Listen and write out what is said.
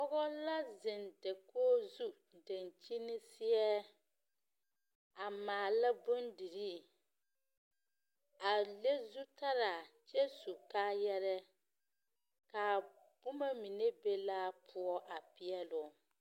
Pͻge la zeŋ dakogi zu daŋkyini seԑ, a maala bondirii. A leŋ zutaraa kyԑ su kaayarԑԑ. Kaa boma mine be laa poͻ a peԑ loo.